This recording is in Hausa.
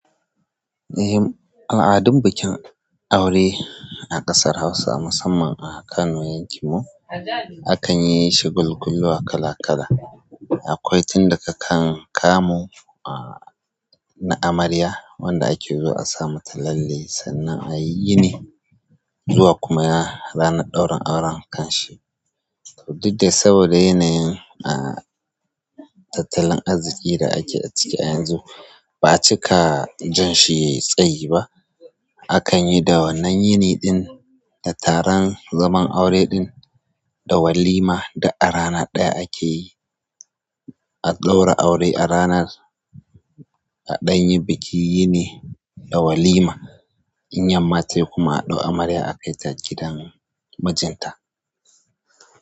Eh, al'adun bikin aure a ƙasar Hausa musamman a Kano yankin mu akan yishi shagalkuwa kala kala. Akwai tun da kakan kamo na amarya wanda ake zo a sama tallale sannan a yi yini zuwa kuma ranar ɗaurin auren kanshi. Dukda saboda yanayin tattalin arziqi da ake a ciki a yanzu ba'a cika jan shi yayi tsayi ba. Akan yi da wannan yini ɗin da taron zaman aure ɗin da walima duk a rana ɗaya akeyi. A ɗaura aure a ranar, a danyi bikin yini da walima. In yanma tayi kuma atau amarya akai ta gidan mijinta.